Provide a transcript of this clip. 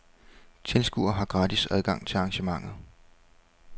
Tilskuere har gratis adgang til arrangementet.